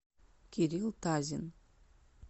кирилл тазин